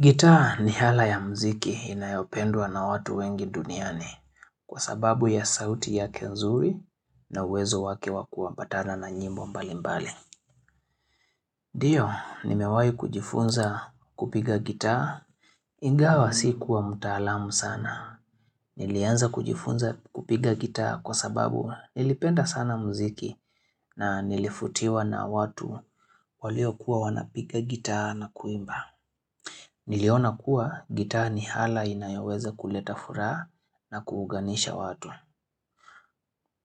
Gitaa ni ala ya mziki inayopendwa na watu wengi duniani kwa sababu ya sauti yake nzuri na uwezo wake wa kuambatana na nyimbo mbali mbali. Ndio, nimewahi kujifunza kupiga gitaa ingawa sikuwa mtaalamu sana. Nilianza kujifunza kupiga gitaa kwa sababu nilipenda sana mziki na nilivutiwa na watu waliokuwa wanapiga gitaa na kuimba. Niliona kuwa gitaa ni ala inayoweza kuleta furaha na kuunganisha watu.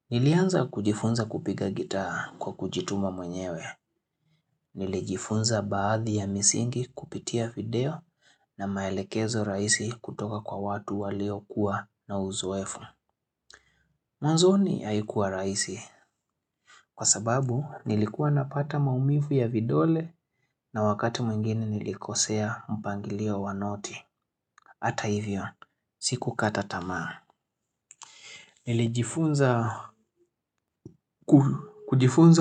Nilianza kujifunza kupiga gitaa kwa kujituma mwenyewe. Nilijifunza baadhi ya misingi kupitia video na maelekezo rahisi kutoka kwa watu waliokuwa na uzoefu. Mwanzoni haikuwa rahisi kwa sababu nilikuwa napata maumivu ya vidole na wakati mwingine nilikosea mpangilio wa noti. Hata hivyo, sikukata tamaa Nilijifunza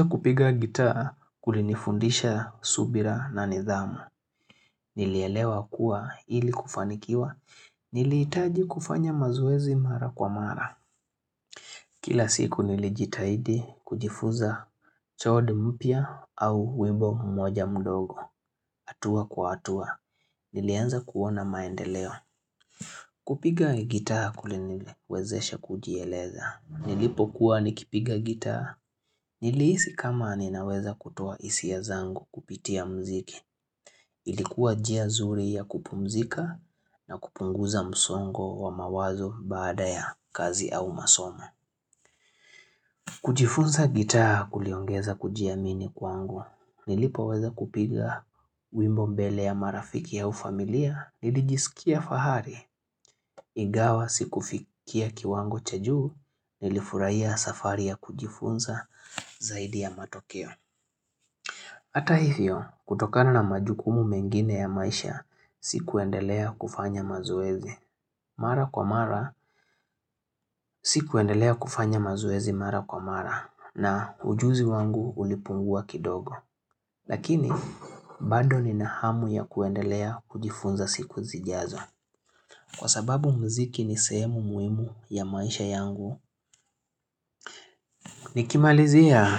kupiga gitaa kulinifundisha subira na nidhamu Nilielewa kuwa ili kufanikiwa Nilihitaji kufanya mazoezi mara kwa mara Kila siku nilijitahidi kujifuza chode mpya au wimbo mmoja mdogo hatua kwa hatua, nilianza kuona maendeleo kupiga gitaa kulinilewezesha kujieleza Nilipokuwa nikipiga gitaa. Nilihisi kama ninaweza kutoa hisia zangu kupitia mziki. Ilikuwa njia zuri ya kupumzika na kupunguza msongo wa mawazo baada ya kazi au masomo. Kujifunza gitaa kuliongeza kujiamini kwangu. Nilipoweza kupiga wimbo mbele ya marafiki au familia. Nilijisikia fahari. Ingawa sikufikia kiwango cha juu. Nilifurahia safari ya kujifunza zaidi ya matokeo. Hata hivyo, kutokana na majukumu mengine ya maisha, sikuendelea kufanya mazoezi mara kwa mara, sikuendelea kufanya mazoezi mara kwa mara, na ujuzi wangu ulipungua kidogo. Lakini, bado nina hamu ya kuendelea kujifunza siku zijazo. Kwa sababu mziki ni sehemu muhimu ya maisha yangu, nikimalizia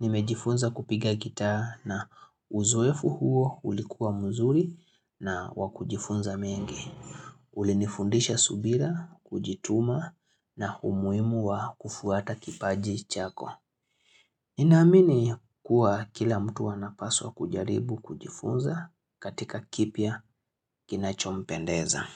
nimejifunza kupiga gitaa na uzoefu huo ulikuwa mzuri na wakujifunza mengi. Ulinifundisha subira, kujituma na umuhimu wa kufuata kipaji chako. Ninaamini kuwa kila mtu anapaswa kujaribu kujifunza katika kipya kinachompendeza.